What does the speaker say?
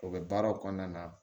O bɛ baaraw kɔnɔna na